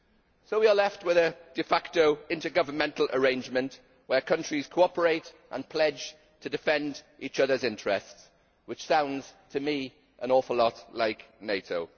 So we are left with a de facto intergovernmental arrangement where countries cooperate and pledge to defend each otherʼs interests, which sounds to me an awful lot like NATO.